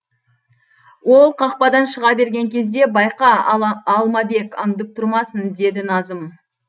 ол қақпадан шыға берген кезде байқа алмабек аңдып тұрмасын деді назым